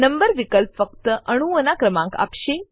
number વિકલ્પ ફક્ત અણુઓનાં ક્રમાંક આપશે